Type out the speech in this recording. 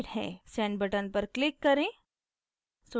send button पर click करें